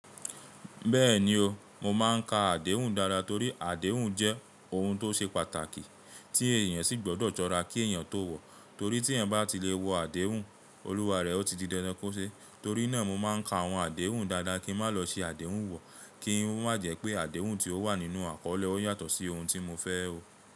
Bẹ́ẹ̀ni o, mo máa ń ka àdéhùn dáadáa torí àdéhùn jẹ́ ohun tó ṣe pàtàkì tí èèyàn sì gbọdọ̀ sọra kí èèyàn tó wọ̀. Torí tí ẹ̀yin bá ti lè wọ àdéhùn, Olúwa rẹ ọ́ ti di dandan kò ṣe. Torí náà mo máa ń ka àwọn àdéhùn dáadáa kí n má lọ ṣi àdéhùn wọ̀, kí n má jẹ́ pé àdéhùn tí ó wà nínú àkọlé ó yàtọ̀ sí ohun tí mo fẹ́ o.